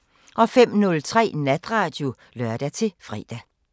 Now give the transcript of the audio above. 05:03: Natradio (lør-fre)